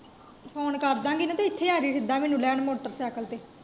Phone ਕਰਦਾਗੀਂ, ਤੇ ਫੇਰ ਇਥੇ ਆਜੀਂ ਸਿੱਧਾ ਮੈਨੂੰ ਲੈਣ, ਮੋਟਰਸਾਈਕਲ ਤੇ।